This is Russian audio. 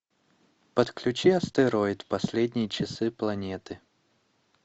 подключи астероид последние часы планеты